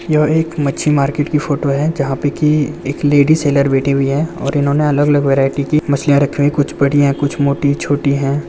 यह एक मच्छी मार्केट की फोटो है। जहां पे की एक लेडी सेलर बैठे हुए। कुछ बदिये कुछ मोटी छोटी है।